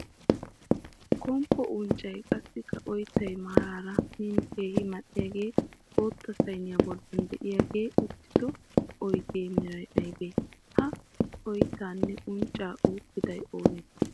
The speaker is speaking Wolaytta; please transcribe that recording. Komppo unccay, qassikka ooyittay maaraara min keehi mal'iyagee bootta sayiniya bolli diyagee uttido oyidiya meray ayibee? Ha oyittaanne uncca uukkiday oonee?